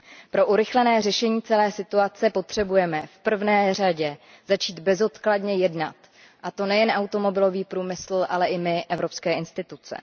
Pro urychlené řešení celé situace potřebujeme v prvé řadě začít bezodkladně jednat, a to nejen automobilový průmysl, ale i my, evropské instituce.